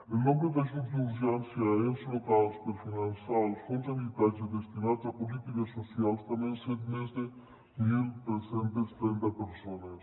el nombre d’ajuts d’urgència a ens locals per finançar els fons d’habitatge destinats a polítiques socials també han sigut més de tretze trenta persones